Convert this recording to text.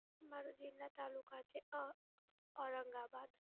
મારો જિલ્લા તાલુકા છે અ, ઔરંગાબાદ.